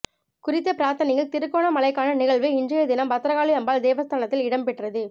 குறித்த பிரார்த்தனையில் திருகோணமலைக்கான நிகழ்வு இன்றைய தினம் பத்திரகாளி அம்பாள் தேவஸ்தானத்தில் இடம்பெற்றது